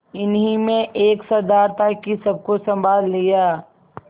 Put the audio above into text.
इन्हीं में एक सरदार था कि सबको सँभाल लिया